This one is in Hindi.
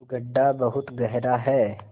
गढ्ढा बहुत गहरा है